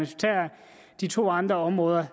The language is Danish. tager de to andre områder